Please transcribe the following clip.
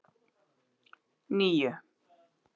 níu